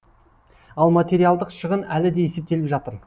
ал материалдық шығын әлі де есептеліп жатыр